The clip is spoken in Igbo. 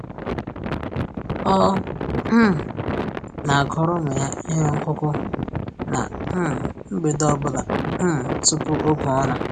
Ọ um na-agụrụ ụmụ ya ihe ọgụgụ ná um mgbede ọ bụla um tupu oge ụra